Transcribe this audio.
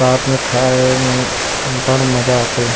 साथ मे आए हे एमे बड़ मजा आथे।